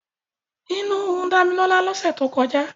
Inú ń run Dámilọ́lá lọ́sẹ̀ tó kọjá.